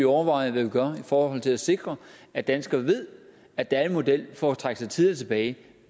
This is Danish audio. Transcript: overveje hvad vi gør i forhold til at sikre at danskerne ved at der er en model for at trække sig tidligere tilbage